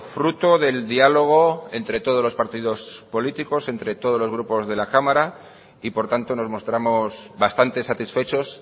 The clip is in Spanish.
fruto del diálogo entre todos los partidos políticos entre todos los grupos de la cámara y por tanto nos mostramos bastante satisfechos